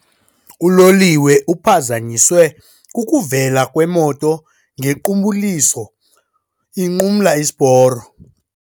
Uloliwe uphazanyiswe kukuvela kwemoto ngequbuliso inqumla isiporo.